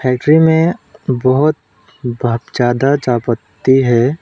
Entry में बहुत ज्यादा चाय पत्ती है।